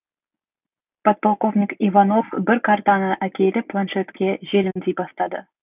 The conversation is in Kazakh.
подполковник иванов бір картаны әкеліп планшетке желімдей бастады